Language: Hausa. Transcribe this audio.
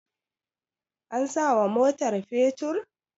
an sawa motar fetur?